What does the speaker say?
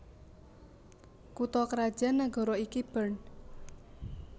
Kutha krajan nagara iki Bern